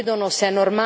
No, non è normale!